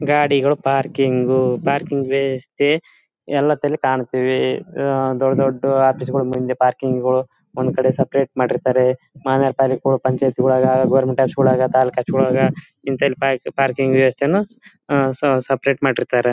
ಗಾಡಿಗಳು parking parking ವ್ಯಸ್ಥೆ ಎಲ್ಲ ತಲೆ ಕಾಣ್ ತಿವಿ ಆಹ್ಹ್ ದೊಡ್ ದೊಡ್ ಆಫೀಸಗಳ ಮುಂದೆ ಪಾರ್ಕಿಂಗ್ ಒಂದ್ ಕಡೆ ಸೆಪೆರೇಟ್ ಮಾಡಿರ್ತಾರೆ ಪಂಚಾಯ್ತಿ ಒಳಗ ಗವರ್ನಮೆಂಟ್ ಆಫೀಸಗಳ ಒಳಗ ತಾಲೂಕ ಆಫೀಸ್ ಒಳಗ ಇಂಥೆಲ್ಲ ಪಾರ್ಕಿಂಗ್ ವ್ಯವಸ್ಥೆಯನ್ನು ಸೆಪೆರೇಟ್ ಮಾಡಿರ್ತಾರೆ .